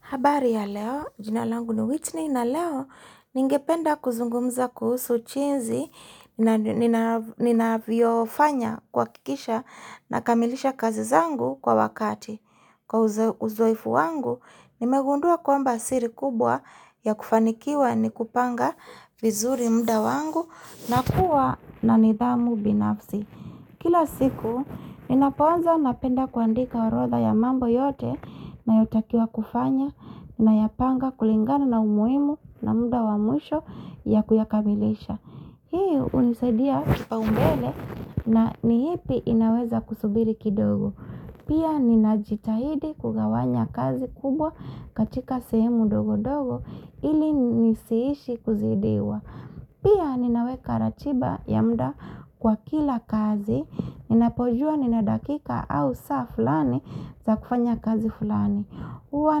Habari ya leo, jina langu ni Whitney na leo ningependa kuzungumza kuhusu jinzi ninavyofanya kwa kikisha na kamilisha kazi zangu kwa wakati Kwa uzoefu wangu, nimegundua kwamba siri kubwa ya kufanikiwa ni kupanga vizuri muda wangu na kuwa na nidhamu binafsi Kila siku inapoaza napenda kuandika orodha ya mambo yote na yotakia kufanya na yapanga kulingana na umuimu na muda wamusho ya kuyakabilisha. Hii unizadia kipao mbele na ni hipi inaweza kusubiri kidogo. Pia ninajitahidi kugawanya kazi kubwa katika sehemu dogo dogo ili nisiishi kuzidiwa. Pia ninaweka ratiba ya muda kwa kila kazi, ninapojua nina dakika au saa fulani za kufanya kazi fulani. Uwa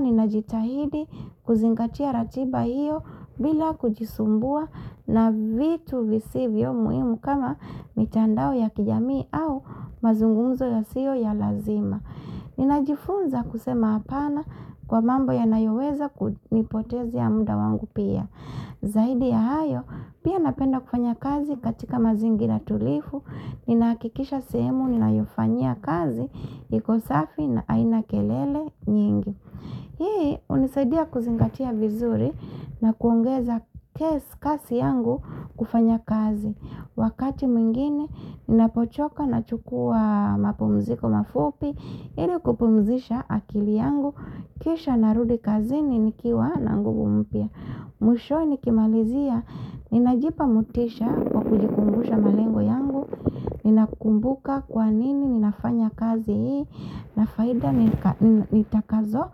ninajitahidi kuzingatia ratiba hiyo bila kujisumbua na vitu visivyo muhimu kama mitandao ya kijamii au mazungumzo ya sio ya lazima. Ninajifunza kusema apana kwa mambo ya nayoweza kunipotezea ya muda wangu pia. Zaidi ya hayo, pia napenda kufanya kazi katika mazingira tulivu, ninaakikisha sehemu, ninaofanya kazi, iko safi na haina kelele nyingi. Hii, unisaidia kuzingatia vizuri na kuongeza kazi yangu kufanya kazi. Wakati mwingine, ninapochoka nachukua mapumziko mafupi, ili kupumzisha akili yangu, kisha narudi kazi ni nikiwa na nguvu mpya. Mwisho nikimalizia, ninajipa mutisha kwa kujikumbusha malengo yangu, nina kumbuka kwa nini ninafanya kazi hii, na faida nitakazo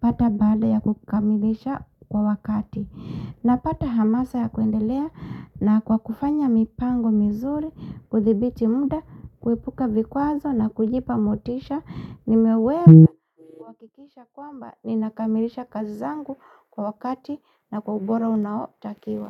pata bada ya kukamilisha kwa wakati. Napata hamasa ya kuendelea na kwa kufanya mipango mizuri, kudhibiti muda, kuepuka vikwazo na kujipa motisha, nimewewe kuhakikisha kwamba ni nakamilisha kazi zangu kwa wakati na kwa ubora unao takiwa.